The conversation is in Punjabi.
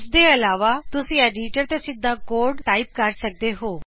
ਇਸ ਤੋਂ ਇਲਾਵਾ ਤੁਸੀਂ ਐਡੀਟਰ ਤੇ ਸਿੱਧਾ ਕੋਡ ਟਾਈਪ ਕਰ ਸਕਦੇ ਹੋ